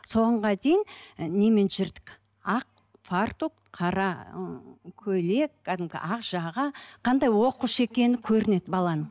дейін і немен жүрдік ақ фартук қара ы көйлек кәдімгі ақ жаға қандай оқушы екені көрінеді баланың